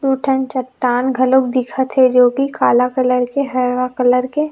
एक ठन चट्टान घलोक दिखत हे जो की काला कलर के ह हरा कलर के--